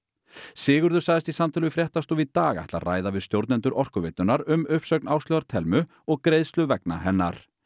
Sigurður sagðist í samtali við fréttastofu í dag ætla að ræða við stjórnendur Orkuveitunnar um uppsögn Áslaugar Thelmu og greiðslu vegna hennar